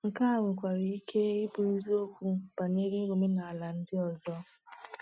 Nke a nwekwara ike ịbụ eziokwu banyere omenala ndị ọzọ.